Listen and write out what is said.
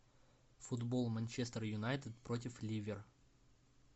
футбол манчестер юнайтед против ливер